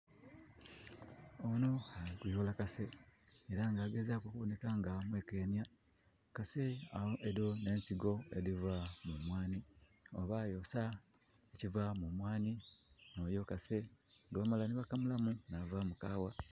Onho ali kuyoola kase. Era nga aligezaaku okubonheka nga amwekenya. Kase, edho n'ensigo edhiva mu mwanhi, oba yosa ekiva mu mwanhi, noyo kase. Gwe bamala nhi bakamulamu, yavaamu kaawa.